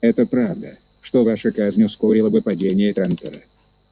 это правда что ваша казнь ускорила бы падение трантора